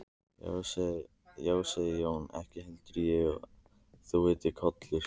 Þá sagði Jón: Ekki held ég að þú heitir Kollur.